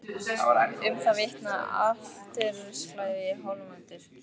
Um það vitnaði altarisklæðið í Hóladómkirkju.